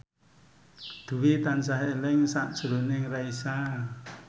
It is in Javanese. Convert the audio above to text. Dwi tansah eling sakjroning Raisa